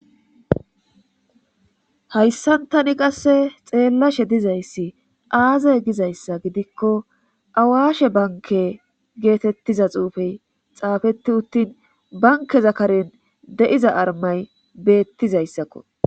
hayssantani qasse xeellashe dizayssi aaze gizayssa gidikko awashe banke geetettiza xuufey xaafeti uttin bankeza karen de7iza armay beettizayssakko.